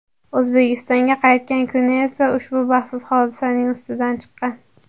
O‘zbekistonga qaytgan kuni esa ushbu baxtsiz hodisaning ustidan chiqqan.